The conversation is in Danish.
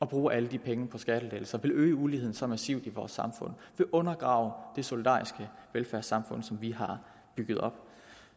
bruge alle de penge på skattelettelser vil øge uligheden så massivt i vores samfund vil undergrave det solidariske velfærdssamfund som vi har bygget op